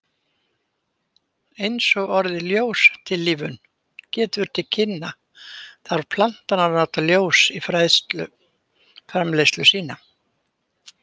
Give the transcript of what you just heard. Eins og orðið ljóstillífun gefur til kynna, þarf plantan að nota ljós í fæðuframleiðslu sína.